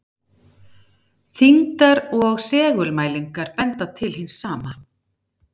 Þyngdar- og segulmælingar benda til hins sama.